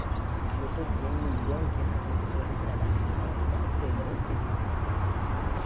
A gente vê todo dia um milhão e quinhentas mil pessoas desempregadas em São Paulo, aquilo dá um temor terrível.